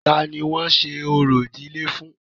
Ta ni wọ́n ń ṣe orò ìdílé fún?